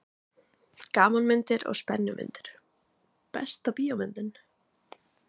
Gamanmyndir og spennumyndir Besta bíómyndin?